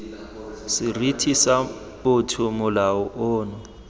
seriti sa botho molao ono